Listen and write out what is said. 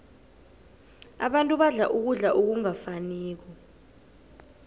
abantu badla ukudla okungafaniko